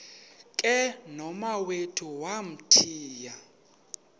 ke nomawethu wamthiya